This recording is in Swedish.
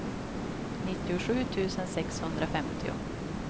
nittiosju tusen sexhundrafemtio